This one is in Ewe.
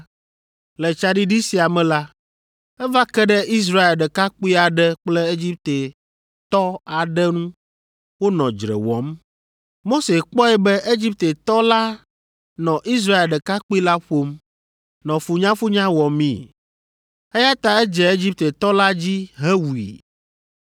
Le tsaɖiɖi sia me la, eva ke ɖe Israel ɖekakpui aɖe kple Egiptetɔ aɖe ŋu wonɔ dzre wɔm. Mose kpɔe be Egiptetɔ la nɔ Israel ɖekakpui la ƒom, nɔ funyafunya wɔmii, eya ta edze Egiptetɔ la dzi hewui.